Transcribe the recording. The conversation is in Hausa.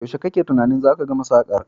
Yaushe kake tunanin zata gama sakar?